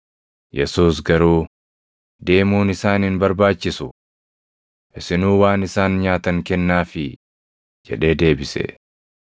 Yesuus garuu, “Deemuun isaan hin barbaachisu. Isinuu waan isaan nyaatan kennaafii” jedhee deebise.